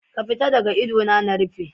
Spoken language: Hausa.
Ka fita daga idona na rufe.